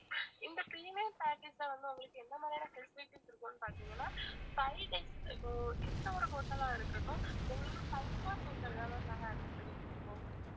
இந்த premium package ல வந்து உங்களுக்கு எந்த மாதிரியான facilities இருக்கும்னு பாத்திங்கனா five days இப்போ எந்த ஒரு hotel ஆ இருக்கட்டும் உங்களுக்கு five star hotel ஆ தான் ma'am நாங்க arrange பண்ணி குடுப்போம்